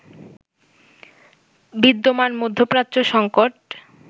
বিদ্যমান মধ্যপ্রাচ্য সঙ্কট